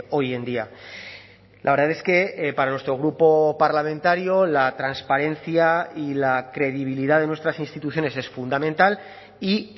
hoy en día la verdad es que para nuestro grupo parlamentario la transparencia y la credibilidad de nuestras instituciones es fundamental y